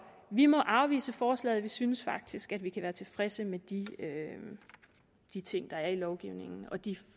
vi må afvise forslaget vi synes faktisk at vi kan være tilfredse med de de ting der er i lovgivningen og de